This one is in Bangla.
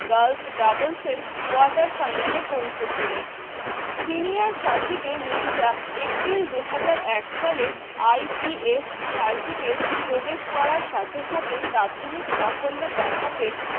girls doubles র quarter final এ পৌঁছে ছিলেন senior circuit এ মির্জা april দু হাজার এক সালে ITS circuit এর প্রবেশ করার সাথে সাথে প্রাথমিক সাফল্য দেখাতে